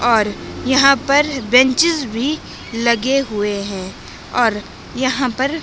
और यहां पर बेंचेज भी लगे हुए हैं और यहां पर--